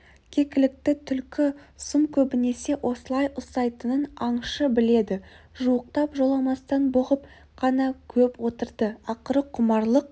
кекілікті түлкі сұм көбінесе осылай ұстайтынын аңшы біледі жуықтап жоламастан бұғып қана көп отырды ақыры құмарлық